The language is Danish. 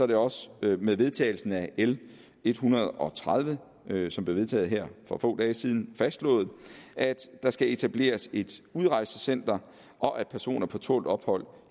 det også med med vedtagelsen af l en hundrede og tredive som blev vedtaget her for få dage siden fastslået at der skal etableres et udrejsecenter og at personer på tålt ophold